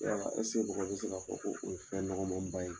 Yala mɔgɔ bɛ se k'a fɔ ko o ye fɛn nɔgɔn ma ba ye?